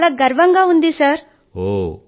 వారికి చాలా గర్వం గా ఉంది సర్